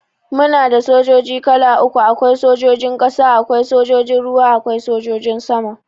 Muana sojoji kala uku, Awai sojojin ƙasa, Awai sojojin ruwa, Awai sojojin sama.